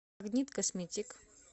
магнит косметик